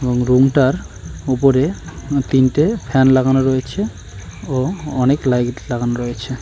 Room -টার উপরে তিনটে ফ্যান লাগানো রয়েছে ও অনেক লাইট লাগানো রয়েছে।